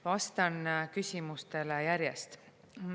Vastan küsimustele järjest.